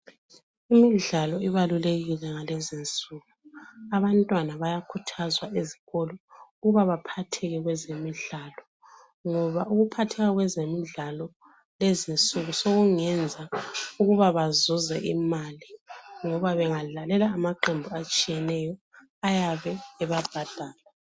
Imidlalo ibalulekile ngalezi insuku abantwana bayakhuthazwa ezikolo ukuba baphatheke kwezemidlalo, ngoba ukuphatheka kwezemidlalo kulezinsuku sokungenza ukuba bazuze imali, ngoba bengadlalela amaqembu atshiyeneyo ayabe ebabhadala.